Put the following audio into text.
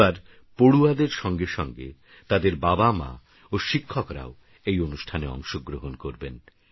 এবারপড়ুয়াদেরসঙ্গেসঙ্গেতাদেরবাবামাওশিক্ষকরাওএইঅনুষ্ঠানেঅংশগ্রহণকরবেন